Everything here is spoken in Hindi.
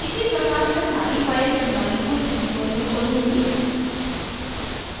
इसी प्रकार मैं सारी files molecules viewer में खोलूँगी